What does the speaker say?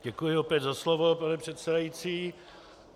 Děkuji opět za slovo, pane předsedající.